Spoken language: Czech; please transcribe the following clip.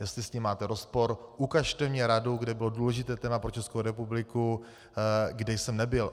Jestli s tím máte rozpor, ukažte mi radu, kde bylo důležité téma pro Českou republiku, kde jsem nebyl.